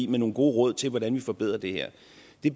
med nogle gode råd til hvordan vi forbedrer det